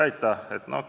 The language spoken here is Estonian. Aitäh!